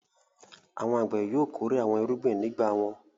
Àwọn àgbẹ̀ yóò kórè àwọn irúgbìn ní ìgbà wọn.